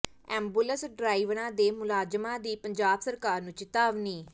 ambulance ਡਰਾਈਵਰਾਂ ਤੇ ਮੁਲਾਜ਼ਮਾਂ ਦੀ ਪੰਜਾਬ ਸਰਕਾਰ ਨੂੰ ਚਿਤਾਵਨੀ